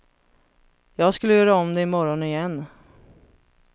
Jag skulle göra om det imorgon igen.